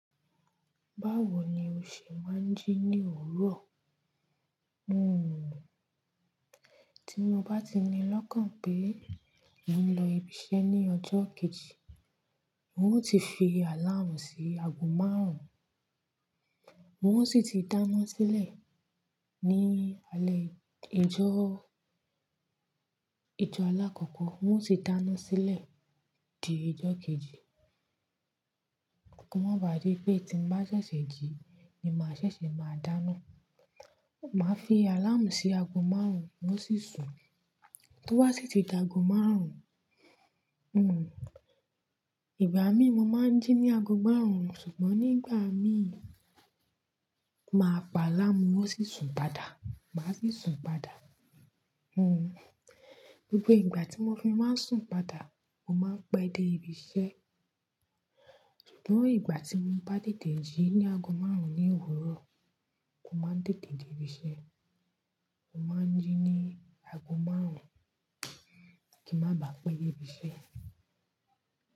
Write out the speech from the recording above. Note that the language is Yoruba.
Báwo ni o ṣe máa ń jí ní òwúrọ̀? Hmm, tí mo bá ti ní lọ́kàn pé mo ń lọ ibi iṣẹ́ ní ọjọ́ kejì, ń ó ti fi àláàmú sí aago márùn-ún. Wọ́n ò sì ti dáná sílẹ̀ ní alẹ́ ìjọ́, ìjọ́ alákọ̀ọ́kọ́. Ń ó tí dáná sílẹ̀ di ìjọ́ kejì, kò mà bà dì pé tí ń bá ṣẹ̀ṣẹ̀ jí ni màá ṣẹ̀ṣẹ̀ máa dáná. Màá fi àláàmú sí aago márùn-ún, ń ó sì sùn. Tó bá sì ti dì aago márùn-ún, hmm, ìgbà mí mo máa ń jí ní aago márùn-ún ṣùgbọ́n nígbà mí, màá pa àláàmú ń ó sì sùn padà. Màá sì sùn padà. Hmm, gbogbo ìgbà tí mo fi máa ń sùn padà, mo máa ń pẹ́ dé ibi iṣẹ́. Ṣùgbọ́n ìgbà tí mo bá tètè jí ní aago márùn-ún ní òwúrọ̀, mo máa ń tètè dé ibi iṣẹ́. Mo máa ń jí ní aago márùn-ún, kí n má bàá pẹ́ dé ibi iṣẹ́